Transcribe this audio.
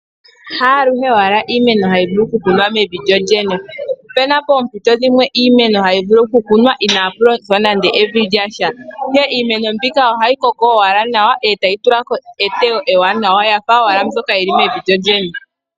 Haaluhe owala iimeno hayi vulu okukunwa mevi lyolyene. Opuna poompito iimeno hayi vulu okukunwa inaapu longithwa nande evi lyasha, ihe iimeno mbika ohayi koko owala nawa etayi tula ko eteyo ewanawa yafa owala mbyoka yili mevi lyolyene.